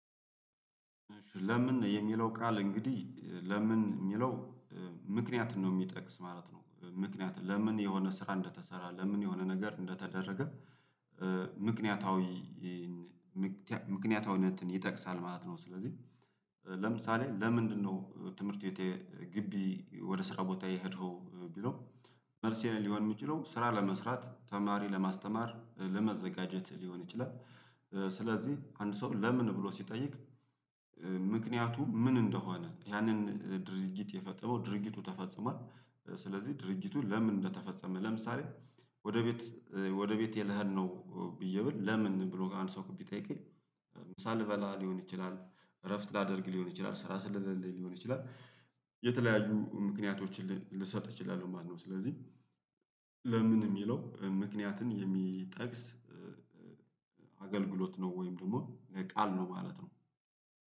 ለምን የሚለው ቃል እንግዲህ ለምን የሚለው ምክንያት ነው የሚጠቅስ ማለት ነው ምክንያቱም ለምን የሆነ ስራ እንደተሰራ ለምን የሆነ ነገር እንደተደረገ ምክንያታዊ ምክንያታዊነትን ይጠቅሳል ማለት ነው። ስለዚህ ለምሳሌ ለምንድነው ትምህርት ቤት የ ግቢ ወደ ስራ ቦታ የሄደው ቢለው መልሴ ሊሆን የሚችለው ስራ ለመስራት ተማሪ ለማስተማር ለመዘጋጀት ሊሆን ይችላል። ስለዚህ አንድ ሰው ለምን ብሎ ሲጠይቅ ምክንያቱ ምን እንደሆነ ያንን ድርጊት የፈጠረው ድርጊቱ ተፈጽሟል። ስለዚህ ድርጊቱን ለምን እንደተፈጸመ ለምሳሌ ወደ ቤት ወደ ቤቴ ልኸድ ነው ብዬ ብል ለምን ብሎ አንድ ሰው ቢጠይቀኝ ሳልበላ ሊሆን ይችላል እረፍት ላደርግ ሊሆን ይችላል ስራ ስለሌለልኝ ሊሆን ይችላል የተለያዩ ምክንያቶችን ልሰጥ እችላለሁ ማለት ነው። ስለዚህ ለምን የሚለው ምክንያትን የሚጠቅስ አገልግሎት ነው ወይም ደግሞ ለቃል ነው ማለት ነው